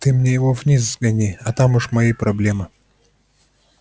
ты мне его вниз сгони а там уж мои проблемы